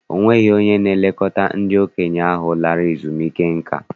Ọ nweghị onye na-elekọta ndị okenye ahụ lara ezumike nka.